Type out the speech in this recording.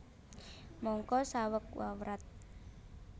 Mangka saweg wawrat